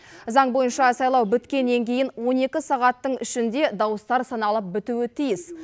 заң бойынша сайлау біткеннен кейін он екі сағаттың ішінде дауыстар саналып бітуі тиіс